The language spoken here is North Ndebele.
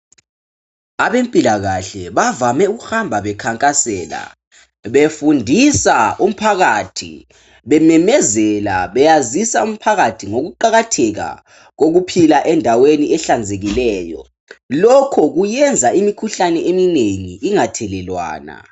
Abempilakahle bavame ukuhamba bekhankasela, befundisa umphakathi bememezela beyazisa umphakathi ngokuqakatheka kokuphila endaweni ehlanzekileyo. Lokho kuyenza imikhuhlane eminengi ingathelelwana.